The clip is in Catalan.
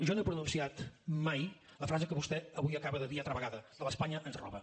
jo no he pronunciat mai la frase que vostè avui acaba de dir altra vegada d’ espanya ens roba